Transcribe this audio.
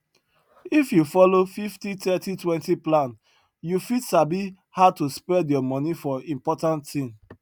if you follow 503020 plan you fit sabi how to spread your moni for important thing